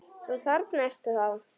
Svo þarna ertu þá!